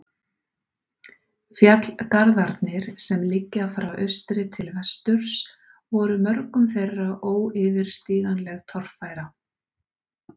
Fjallgarðarnir, sem liggja frá austri til vesturs, voru mörgum þeirra óyfirstíganleg torfæra.